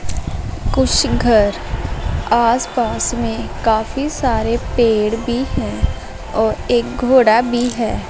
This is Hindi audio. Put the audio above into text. कुछ घर आसपास में काफी सारे पेड़ भी हैं और एक घोड़ा भी है।